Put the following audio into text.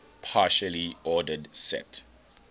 partially ordered set